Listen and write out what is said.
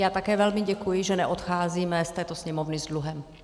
Já také velmi děkuji, že neodcházíme z této Sněmovny s dluhem.